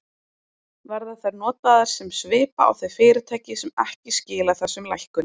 Verða þær notaðar sem svipa á þau fyrirtæki sem ekki skila þessum lækkunum?